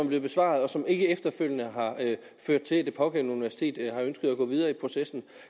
blevet besvaret og som ikke efterfølgende har ført til at det pågældende universitet har ønsket at gå videre i processen